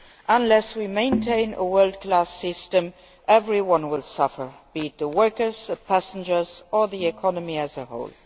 Unless we maintain a world class system, everyone will suffer be it the workers, the passengers or the economy as a whole.